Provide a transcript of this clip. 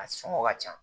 A sɔngɔ ka ca